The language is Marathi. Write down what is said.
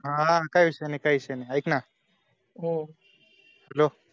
हा काय विषय नाय काय विषय नाय ऎक ना अं hello